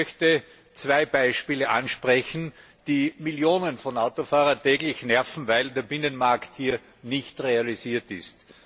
Ich möchte zwei Beispiele ansprechen, die Millionen von Autofahrern täglich nerven, weil der Binnenmarkt hier nicht realisiert ist.